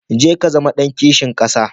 Jeka Ka zama ɗan kishin ƙasa.